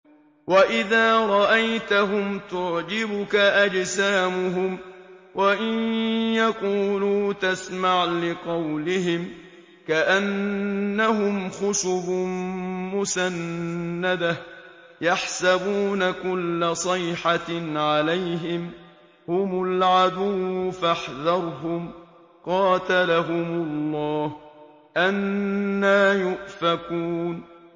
۞ وَإِذَا رَأَيْتَهُمْ تُعْجِبُكَ أَجْسَامُهُمْ ۖ وَإِن يَقُولُوا تَسْمَعْ لِقَوْلِهِمْ ۖ كَأَنَّهُمْ خُشُبٌ مُّسَنَّدَةٌ ۖ يَحْسَبُونَ كُلَّ صَيْحَةٍ عَلَيْهِمْ ۚ هُمُ الْعَدُوُّ فَاحْذَرْهُمْ ۚ قَاتَلَهُمُ اللَّهُ ۖ أَنَّىٰ يُؤْفَكُونَ